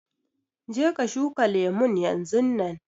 Je ka shuka lemun yanzunnan.